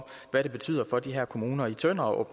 hvad det betyder for de her kommuner i tønder og